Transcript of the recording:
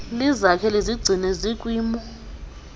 lizakhe lizigcine zikwimo